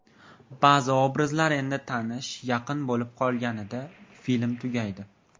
Ba’zi obrazlar endi tanish, yaqin bo‘lib qolganida film tugaydi.